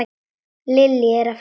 Lillý: Að fara með hana?